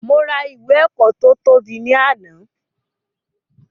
Mo ra ìwé ẹ̀kọ́ to tóbi ni àná